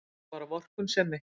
Trúlega bara vorkunnsemi.